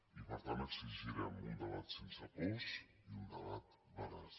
i per tant exigirem un debat sense pors i un debat veraç